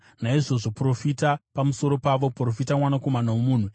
Naizvozvo profita pamusoro pavo; profita, mwanakomana womunhu.”